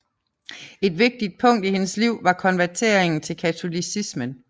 Et vigtigt punkt i hendes liv var konverteringen til katolicismen